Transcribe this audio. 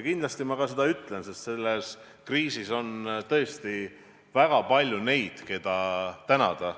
Kindlasti ma seda ka jagan, sest selles kriisis on tõesti väga palju neid, keda tänada.